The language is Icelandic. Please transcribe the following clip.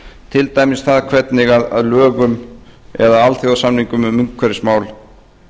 til dæmis það hvernig alþjóðasamningum um umhverfismál